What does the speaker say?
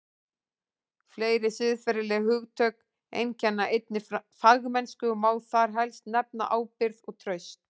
Fleiri siðferðileg hugtök einkenna einnig fagmennsku og má þar helst nefna ábyrgð og traust.